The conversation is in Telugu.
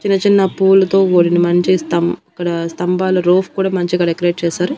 చిన్న చిన్న పూలతో కూడిన మంచి స్తం అక్కడ స్తంభాల రూఫ్ కుడా మంచిగా డెకరేట్ చేశారు.